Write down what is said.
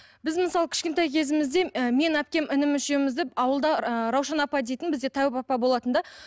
біз мысалы кішкентай кезімізде ы мен әпкем інім үшеуімізді ауылда ыыы раушан апа дейтін бізде тәуіп апа болатын да